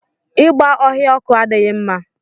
Igba ọhịa ọkụ adịghị mma.